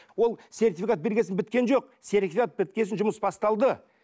ол сертификат берген соң біткен жоқ сертификат біткен соң жұмыс басталды